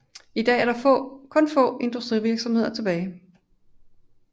I dag er kun få industrivirksomheder tilbage